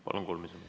Palun, kolm minutit.